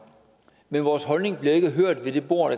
men vores holdning bliver ikke hørt ved det bord